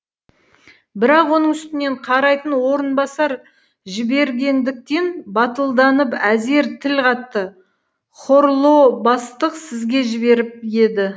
бірақ оның үстінен қарайтын орынбасар жібергендіктен батылданып әзер тіл қатты хорлоо бастық сізге жіберіп еді